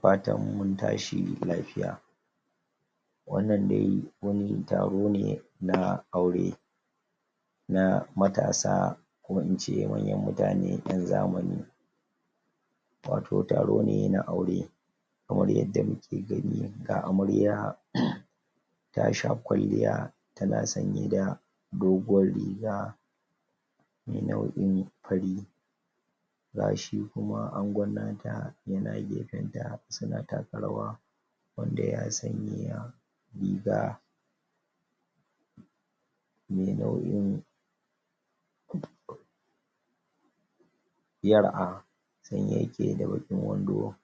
fatan mun tashi lafiya wannan dai wani taro ne na aure na matasa ko ince manyan mutane ƴan zamani wato taro ne na aure kamar yadda muke gani ga Amarya tasha kwalliya tana sanye da doguwar riga nau'in fari gashi kuma Angon nata yana gefen ta suna taka rawa wanda ya sanya riga me nau'in yar ah saye yake da baƙin wando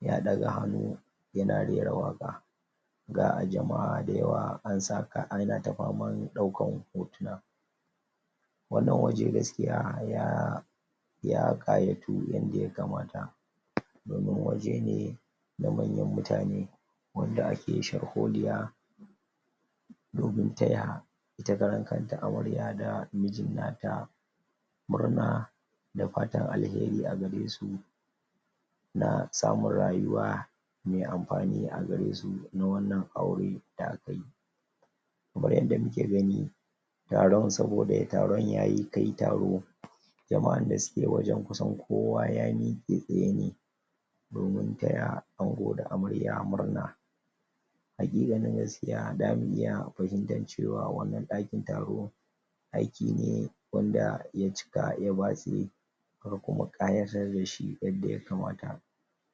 ya ɗaga hannu yana rera waƙa ga jama'a da yawa an sa kaya ana ta faman ɗaukan hotuna wannan waje gaskiya ya ya ƙayatu yanda ya kamata domin waje ne na manyan mutane wanda ake sharholiya domin taya ita kanta Amarya da mijin nata murna da fatan alheri a garesu na samun rayuwa me amfani agaresu na wannan aure da aka yi kamar yanda muke gani taron saboda dai taron yayi kai taro jama'ar dasuke wajen kusan kowa ya miƙe tsaye ne domin taya ango da amarya murna haƙiƙanin gaskiya zamu iya bajintancewa a wannan ɗakin taro ɗaki ne wanda ya cika ya batse an kuma ƙayatar dashi yanda ya kamata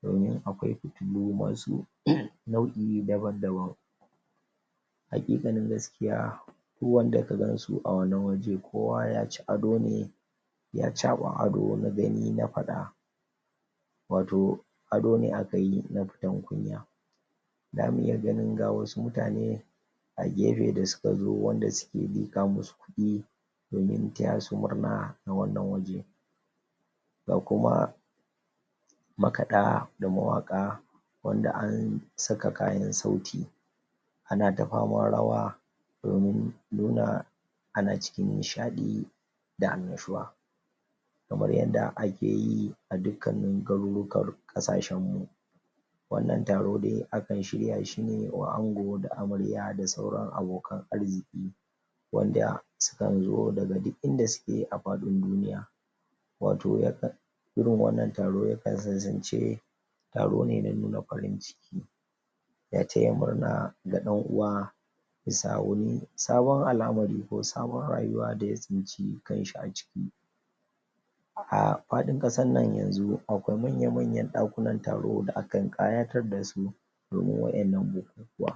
domin akwai fitilo masu nau'i daban daban haƙiƙanin gaskiya duk wanda kaganshi a wannan waje kowa yaci ado ne ya caɓa ado na gani na faɗa wato ado ne akayi na fitan kunya zamu iya ganin ga wasu mutane a gefe da suka zo wanda suke liƙa musu kuɗi domin taya su murna a wannan waje ga kuma makaɗa da mawaƙa wanda an saka kayan sauti ana ta faman rawa domin nuna ana cikin nishiɗi da annashuwa kamar yadda ake yi a dukkani garurukan ƙasashen mu wannan taro dai akan shirya shine wa ango da amarya da sauran abokan arziki wanda sukan zo daga duk inda suke a faɗin duniya wato yakan irin wanna taro yakan kasance taro ne na nuna farin ciki na taya murna ga ɗan uwa bisa wuni sabon al'amari ko sabon rayuwa daya tsinci kanshi a ciki a faɗin ƙasar nan yanzu akwai manya manyan ɗakunan taro da akan ƙayatar dasu domin waɗannan bukukuwa